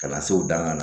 Ka na se u dan na